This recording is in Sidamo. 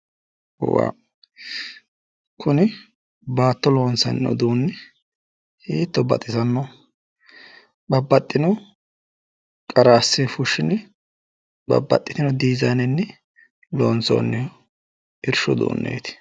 kuni baatto loonsanni uduunni hiitto baxisanno! Babbaxxino qara assine fushshine babbaxxitino dizaannenni loonsoonni irshu uduunneeti.